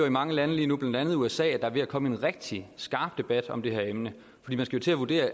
i mange lande lige nu blandt andet usa er ved at komme en rigtig skarp debat om det her emne fordi man skal til at vurdere